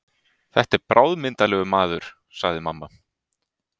Þetta er bráðmyndarlegur maður, sagði mamma.